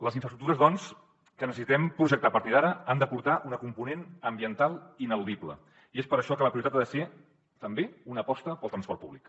les infraestructures que necessitem projectar a partir d’ara han d’aportar una component ambiental ineludible i és per això que la prioritat ha de ser també una aposta pel transport públic